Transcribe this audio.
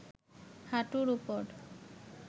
হাঁটুর ওপর